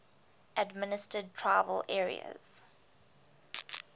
administered tribal areas